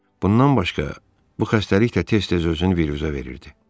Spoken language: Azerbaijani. Bundan başqa, bu xəstəlik də tez-tez özünü biruzə verirdi.